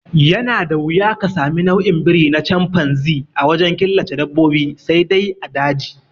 Yana da wuya ka sami nau'in biri na canfanzi a wajen killace dabbobi sai dai a daji